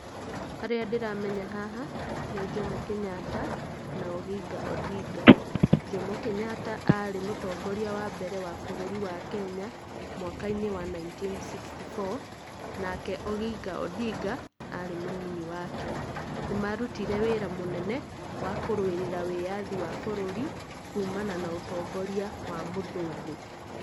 Arĩa ndĩramenya haha, nĩ Jomo Kenyatta, na Oginga Ondinga. Jomo Kenyatta arĩ mũtongoria wa mbere wa Kenya, mwaka-inĩ wa Nineteen sixty four, nake Oginga Ondinga, arĩ mũnini wake. Nĩ marutire wĩra mũnene, wa kũrũĩrĩra wĩyathi wa bũrũri, kuumana na ũtongoria wa mũthũngũ.